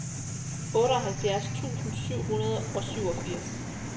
otteoghalvfjerds tusind syv hundrede og syvogfirs